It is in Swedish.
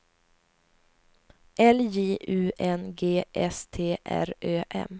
L J U N G S T R Ö M